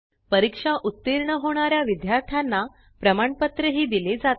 परीक्षा उत्तीर्ण होणाऱ्या विद्यार्थ्यांना प्रमाणपत्र दिले जाते